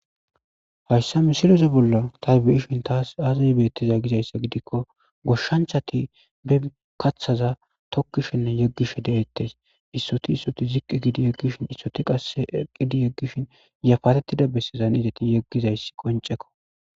Hayssa misilosi bolla tabiyishin taas aazay beettiza gizayssa gidikko goshshanchati be kathaza tokkishenne yeggishe deettes issoti issoti ziqqi gidi yeggishin issoti qas eqidi yeggishin yafatettida bessezan izati yeggizayssi qoncekko.